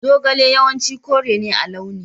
Zogale yawanci kore ne a launi.